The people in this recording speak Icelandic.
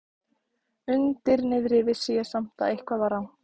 Undir niðri vissi ég samt að eitthvað var rangt.